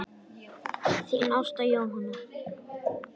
Þín Ásta Jóna.